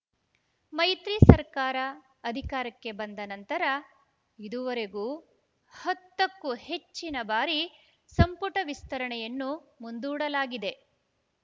ಮೈತ್ರಿ ಸರ್ಕಾರ ಅಧಿಕಾರಕ್ಕೆ ಬಂದ ನಂತರ ಇದುವರೆಗೂ ಹತ್ತ ಕ್ಕೂ ಹೆಚ್ಚಿನ ಬಾರಿ ಸಂಪುಟ ವಿಸ್ತರಣೆಯನ್ನು ಮುಂದೂಡಲಾಗಿದೆ